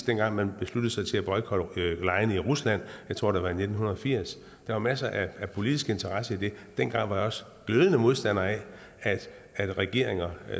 dengang man besluttede sig til at boykotte legene i rusland jeg tror det var i nitten firs der var masser af politisk interesse i det dengang var jeg også glødende modstander af at regeringer